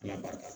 Ala barika